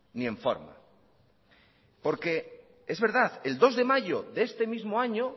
ni en forma porque es verdad el dos de mayo de este mismo año